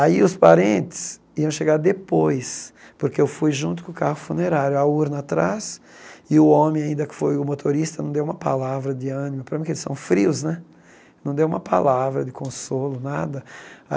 Aí os parentes iam chegar depois, porque eu fui junto com o carro funerário, a urna atrás, e o homem ainda que foi o motorista, não deu uma palavra de ânimo, para mim que eles são frios né, não deu uma palavra de consolo, nada.